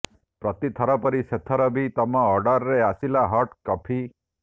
ପ୍ରତି ଥର ପରି ସେଥର ବି ତମ ଅର୍ଡର୍ରେ ଆସିଲା ହଟ୍ କଫି